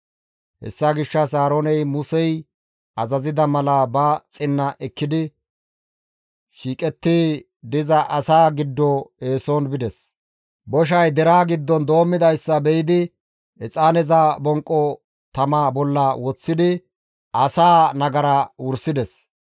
Hessa gishshas Aarooney Musey azazida mala ba xinna ekkidi shiiqetti diza asaa giddo eeson bides; boshay deraa giddon doommidayssa be7idi exaaneza bonqo tama bolla woththidi asaa nagaraa wursides.